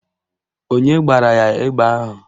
Onye gbara ya egbe ahụ?